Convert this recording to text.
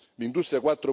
L'industria